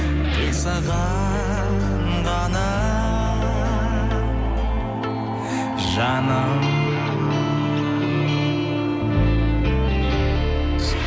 тек саған ғана жаным